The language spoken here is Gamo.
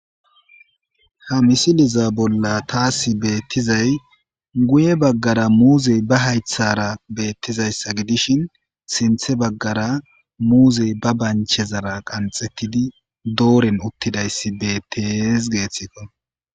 Ha misiliza bolla taasi beettizay guye baggara muuzey ba haythara beettizayssa gidishin sinthe baggara muuzey ba banchezara qanxettidi dooren uttidayssi betees geeththikko.